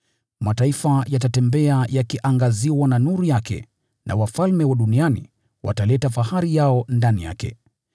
Mataifa yatatembea yakiangaziwa na nuru yake na wafalme wa duniani wataleta fahari yao ndani yake.